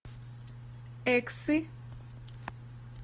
эксы